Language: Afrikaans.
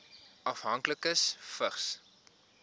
afhanklikes vigs